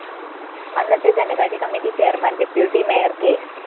അന്നത്തെ ധനകാര്യ committee chairman deputy mayor K